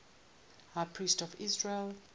high priests of israel